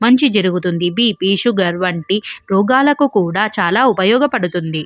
మంచి జరుగుతుంది BP sugar లాంటి రోగాలకు కూడా చాలా ఉపయోగపడుతుంది.